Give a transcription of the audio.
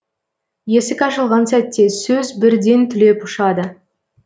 есік ашылған сәтте сөз бірден түлеп ұшады